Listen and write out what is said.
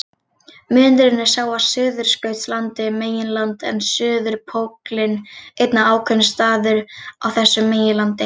Munurinn er sá að Suðurskautslandið er meginland en suðurpóllinn einn ákveðinn staður á þessu meginlandi.